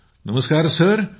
सुनीलः नमस्कार सर